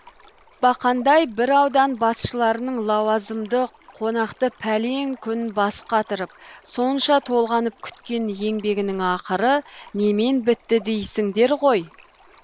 бақандай бір аудан басшыларының лауазымды қонақты пәлен күн бас қатырып сонша толғанып күткен еңбегінің ақыры немен бітті дейсіңдер ғой